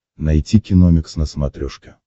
найти киномикс на смотрешке